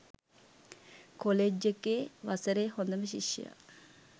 college එකේ වසරේ හොඳම ශිෂ්‍යයා